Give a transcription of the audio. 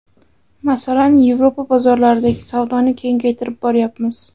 Masalan, Yevropa bozorlaridagi savdoni kengaytirib boryapmiz.